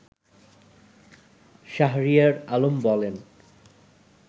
শাহরিয়ার আলম বলেন